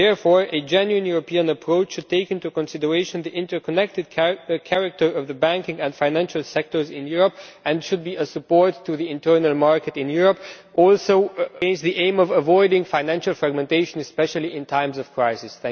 Therefore, a genuine European approach should take into consideration the interconnected character of the banking and financial sectors in Europe and should be a support to the internal market in Europe, also with the aim of avoiding financial fragmentation, especially in times of crisis.